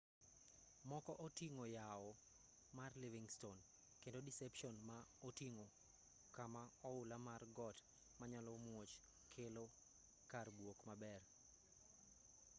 moko oting'o yawo mar livingston kendo deception ma oting'o kama oula mar got ma nyalo muoch kelo kar buok maber